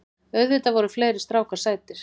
Auðvitað voru fleiri strákar sætir.